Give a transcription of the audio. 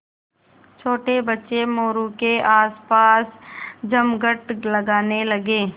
छोटे बच्चे मोरू के आसपास जमघट लगाने लगे